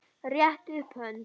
Réttið upp hönd.